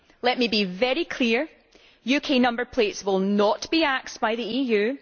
Let me be very clear UK number plates will not be axed by the EU